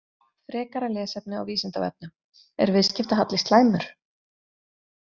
Frekara lesefni á Vísindavefnum: Er viðskiptahalli slæmur?